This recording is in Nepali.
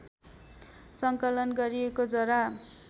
सङ्कलन गरिएको जरा